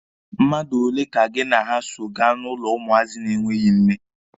Mmadụ ole ka gị na ya so gaa n'ụlọ ụmụazị na-enweghi nne?